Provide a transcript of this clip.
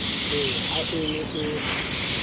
he ha e ne e